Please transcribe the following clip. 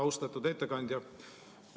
Austatud ettekandja!